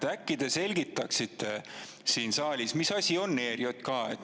Äkki te selgitaksite siin saalis, mis asi on ERJK.